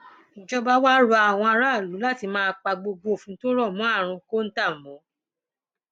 ìjọba wàá rọ àwọn aráàlú láti máa pa gbogbo òfin tó rọ mọ àrùn kọńtà mọ